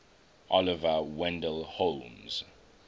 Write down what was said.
oliver wendell holmes